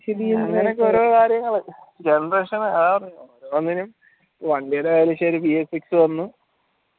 അങ്ങനെ ഒക്കെ ഓരോ കാര്യങ്ങള്